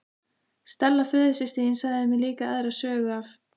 Stella föðursystir þín sagði mér líka aðra sögu af